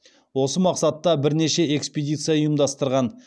осы мақсатта бірнеше экспедиция ұйымдастырған